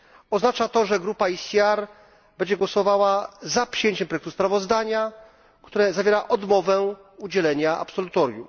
Oznacza to, że grupa ECR będzie głosowała za przyjęciem projektu sprawozdania, które zawiera odmowę udzielenia absolutorium.